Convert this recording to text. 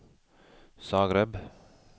Zagreb